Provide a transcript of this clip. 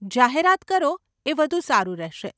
જાહેરાત કરો, એ વધુ સારું રહેશે.